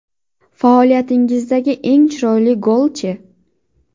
Faoliyatingizdagi eng chiroyli gol-chi?